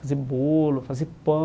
Fazer bolo, fazer